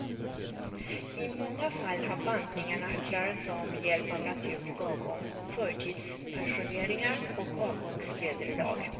I många fall har bantningarna klarats av med hjälp av naturlig avgång, förtidspensioneringar och avgångsvederlag.